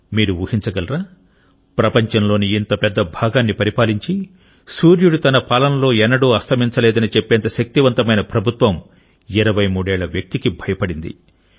మీరు ఊహించగలరా ప్రపంచంలోని ఇంత పెద్ద భాగాన్ని పరిపాలించి సూర్యుడు తన పాలనలో ఎన్నడూ అస్తమించలేదని చెప్పేంత శక్తివంతమైన ప్రభుత్వం 23 ఏళ్ల వ్యక్తికి భయపడింది